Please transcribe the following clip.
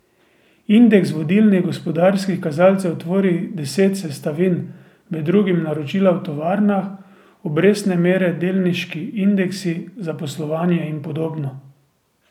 Indeks vodilnih gospodarskih kazalcev tvori deset sestavin, med drugim naročila v tovarnah, obrestne mere delniški indeksi, zaposlovanje in podobno.